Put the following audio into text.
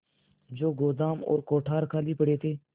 जो गोदाम और कोठार खाली पड़े थे